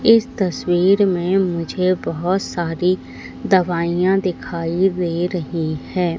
इस तस्वीर में मुझे बहुत सारी दवाइयां दिखाई दे रही है।